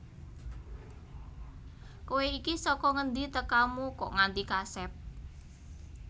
Kowe iki saka ngendi tekamu kok nganti kasep